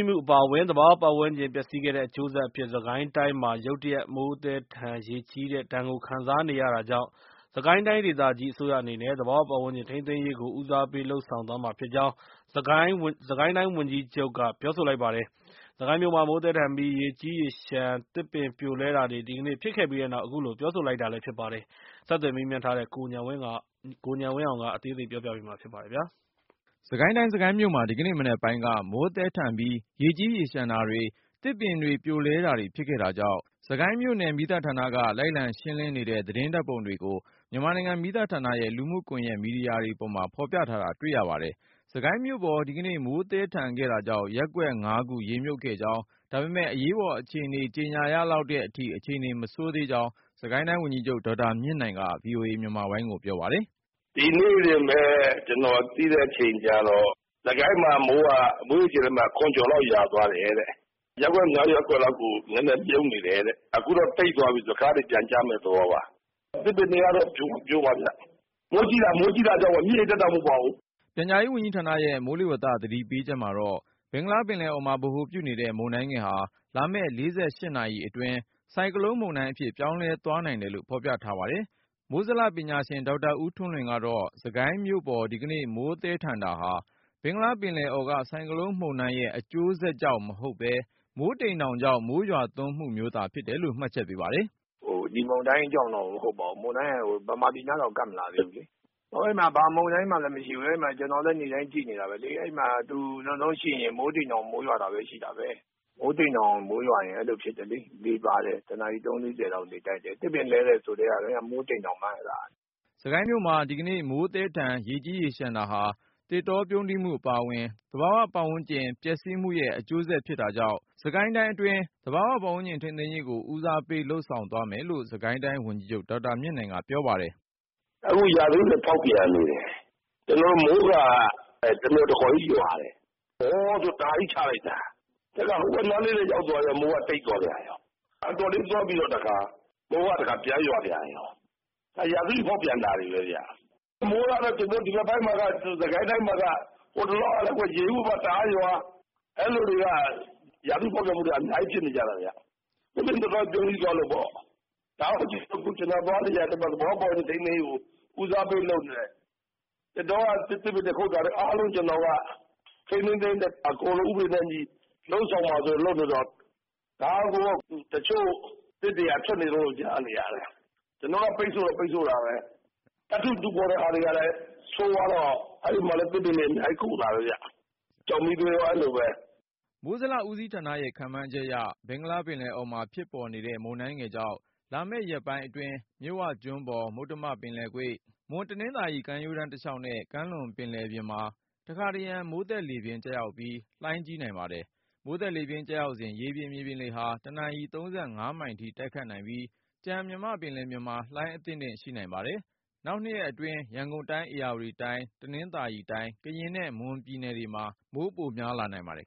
းမှုအပါအဝင် သဘာဝပတ်ဝန်းကျင် ပျက်စီးခဲ့တဲ့အကျိုးဆက်အဖြစ် စစ်ကိုင်းတိုင်းမှာ ရုတ်တရက် မိုးသည်းထန် ရေကြီးတဲ့ ဒဏ်ကို ခံစားနေရ တာကြောင့် စစ်ကိုင်းတိုင်းဒေသကြီး အစိုးရအနေနဲ့ သဘာ၀ ပတ်ဝန်းကျင် ထိန်းသိမ်းရေးကို ဦးစားပေး လုပ်ဆောင် နေကြောင်း စစ်ကိုင်းတိုင်း ဝန်ကြီးချုပ်က ပြောဆို လိုက်ပါတယ်။ စစ်ကိုင်းမြို့မှာ မိုးသည်းထန်ပြီး ရေကြီးရေလျှံ သစ်ပင်ပြိုလဲတာတွေ ဒီကနေ့ ဖြစ်ခဲ့ပြီးနောက် အခုလို ပြောဆိုလိုက် တာလဲ ဖြစ် ပါတယ်။ ဆက်သွယ်မေးမြန်း ထားတဲ့ ကိုဉာဏ်ဝင်းအောင်က တင်ပြပါမယ်။ စစ်ကိုင်းတိုင်း စစ်ကိုင်းမြို့မှာ ဒီကနေ့မနက်ပိုင်းက မိုးသည်းထန်ပြီး ရေကြီးရေလျှံ တာတွေ သစ်ပင်တွေပြိုလဲတာတွေဖြစ်ခဲ့တာကြောင့် စစ်ကိုင်း မြို့နယ် မီးသတ် ဌာနက လိုက်လံရှင်းလင်းနေတဲ့ သတင်းဓါတ်ပုံတွေကို မြန်မာနိုင်ငံမီးသတ်ဌာနရဲ့ လူမှုကွန်ယက်မီဒီယာတွေပေါ် ဖေါ်ပြထား တာတွေ့ရပါတယ်။ စစ်ကိုင်းမြို့ပေါ် ဒီကနေ့ မိုးသည်းထန်ခဲ့တာကြောင့် ရပ်ကွက် ၅ ခု ရေမြုပ်ခဲ့ကြောင်း ဒါပေမယ့် အရေးပေါ် အခြေအနေ ကြေညာ ရလောက်တဲ့အထိ အခြေအနေမဆိုးသေးကြောင်း စစ်ကိုင်းတိုင်းဝန်ကြီးချုပ် ဒေါက်တာမြင့်နိုင်က VOA မြန်မာပိုင်းကို ပြောပါတယ်။ “ ဒီနေ့တင်ပဲ ကျနော်သိတဲ့ အချိန်ကျတော့ စစ်ကိုင်းမှာ မိုးက မိုးရေချိန်လက်မ ၇ ကျော်လောက် ရွာသွားတယ်။ ရပ်ကွက် ၅ ရပ်ကွက်လောက် ရေမြုပ်နေတယ်၊ အခုတော့ မိုးတိပ်သွားပြီဆိုတော့ ခဏနေပြန်ကျမယ့် သဘောပါ။ သစ်ပင်တွေ ကတော့ ပြိုမှာဗျ၊ မိုးကြီးတာပါ မြစ်ရေတက်တာ မဟုတ်ပါဘူး ” ပြန်ကြားဝန်ကြီးဌာနရဲ့ မိုးလေဝသသတိပေးချက်မှာတော့ ဘင်္ဂလားပင်လယ်အော် မှာ ဗဟိုပြုနေတဲ့မုန်တိုင်းငယ်ဟာ လာမယ့် ၄၈နာရီအတွင်း ဆိုင်ကလုန်းမုန်တိုင်း အဖြစ် ပြောင်းလဲ သွားနိုင်တယ်လို့ ဖေါ်ပြထားတာပါ။ မိုးဇလပညာရှင် ဒေါက်တာ ဦးထွန်းလွင်ကတော့ စစ်ကိုင်းမြို့ပေါ် ဒီကနေ့ မိုးသည်းထန်တာဟာ ဘင်္ဂလားပင် လယ်အော်က ဆိုင်ကလုန်းမုန်တိုင်းရဲ့ အကျိုးဆက်ကြောင့်မဟုတ်ပဲ မိုးတိမ်ေ တာင်ကြောင့် မိုးရွာ သွန်းမှုမျိုးသာ ဖြစ်တယ်လို့ မှတ်ချက်ပေးပါတယ်။ “ ဒီမုန်တိုင်းကြောင့်တော့ မဟုတ်ပါဘူး၊ မုန်တိုင်းက မြန်မာပြည်နားတောင် ကပ် မလာသေး ဘူးလေ။ အဲဒီမှာ ဘာမုန်တိုင်းမှလဲ မရှိဘူး ကျနော်လည်း နေ့တိုင်း ကြည့်နေတာပဲလေ။ အဲ့မှာ သူနောက်ဆုံးရှိရင် မိုးတိမ်တောင် မိုးရွာတာပဲ ရှိမှာ၊ မိုးတိမ်တောင် မိုးရွာရင် အဲလိုဖြစ်တယ်လေ၊ လေပါတယ် တနာရီ ၃-၄၀ လောက် လေတိုက်တယ်။ သစ်ပင်တွေ လဲတယ်ဆိုကတည်းက အဲဒါ မိုးတိမ်တောင်ပါ ” စစ်ကိုင်းမြို့မှာ ဒီကနေ့ မိုးသည်းထန်၊ ရေကြီးရေလျှံရတာဟာ သစ်တောပြုန်း တီးမှု အပါဝင် သဘာဝပတ်ဝန်းကျင် ပျက်စီးမှုရဲ့အကျိုးဆက် ဖြစ်တာကြောင့် သဘာ၀ ပတ်ဝန်းကျင် ထိန်းသိမ်းရေးကို ဦးစားပေးလုပ်ဆောင်နေရကြောင်း စစ်ကိုင်းတိုင်း ဝန်ကြီးချုပ် ဒေါက်တာမြင့်နိုင်က ပြောပါတယ်။ “ အခု ရာသီဥတု ဖေါက်ပြန်နေတယ် မိုးက တမျှော်တခေါ်ကြီး ရွာတယ်၊ ဝေါဆို တအားကြီးချလိုက်တာ။ ခုတော့ မိုးကတိပ်သွားပြန်ရော။ တိပ်သွားပြီးတော့ တခါ မိုးကပြန်ရွာပြန်ရော ရာသီဥတု ဖေါက်ပြန်နေတာတွေပဲဗျ၊ ဒီရက်ပိုင်းတော့ စစ်ကိုင်း တိုင်းမှာက ဟိုတလောကပဲ ရေဦးဘက် တအားရွာ၊ အဲလိုတွေ ရာသီဥတု ဖေါက်ပြန် မှုတွေက အများကြီးဖြစ်နေတာ။ သစ်ပင်သစ်တော ပြုန်းတီးသွားလို့ပေါ့၊ ဒါကြောင့် ကျနော် သွားလေရာမှာ သဘာ၀ ပတ်ဝန်းကျင် ထိန်းသိမ်းရေးကို ဦးစားပေး လုပ်နေတယ်။ သစ်ပင်တွေ ခုတ်နေတာလဲ အားလုံး ကျနော်တို့က ထိန်းထိန်း သိမ်းသိမ်းနဲ့ အကုန်လုံး ဥပဒေနဲ့အညီ လုပ်ဆောင်မှာဆိုပြီး လုပ်နေတော့၊ ဒါတောင် တချို့သစ်တွေက ထွက်နေတုန်းလို့ ကြားနေ ရတယ်။ ကျနော်တော့ ပိတ်ဆို့တော့ ပိတ်ဆို့တာပဲ၊ သတ္တုတူးဖေါ်တဲ့ ဟာတွေကလည်း ဆိုးဝါးတော့ အဲဒီမှာလည်း သစ်ပင်တွေ အများကြီး ကုန်တာပဲဗျ၊ ကျောက်မီးသွေးလည်း အဲလိုပဲ ” မိုးဇလ ဦးစီးဌာနရဲ့ ခန့်မှန်းချက်အရ ဘင်္ဂလားပင်လယ်အော် ဖြစ်ပေါ်နေတဲ့ မုန်တိုင်း ငယ်ကြောင့် လာမယ့်ရက်ပိုင်းအတွင်း မြစ်ဝကျွန်းပေါ်၊ မုတ္တမကွေ့၊ မွန်-တနင်္သာရီ ကမ်းရိုးတန်းတစ်လျှောက်နဲ့ ကမ်းလွန်ပင်လယ်ပြင်တမှာ တစ်ခါတစ်ရံ မိုးသက်ေ လပြင်း ကျရောက်ပြီး၊ လှိုင်းကြီး နိုင်ပါတယ်။ မိုးသက်လေပြင်း ကျစဉ် ရေပြင် /မြေပြင်လေ ဟာ တစ်နာရီ ၃၅ မိုင်အထိ တိုက်ခတ်နိုင်ပြီး၊ ကျန်မြန်မာ့ပင် လယ်ပြင်မှာ လှိုင်းအသင့် အတင့်ရှိပါမယ်။ နောက် ရက်အတွင်း ရန်ကုန်တိုင်း၊ ဧရာဝတီတိုင်း၊ တနင်္သာရီတိုင်း ကရင်နဲ့ မွန်ပြည်နယ်တွေမှာ မိုးပိုများလာနိုင်ပါတယ်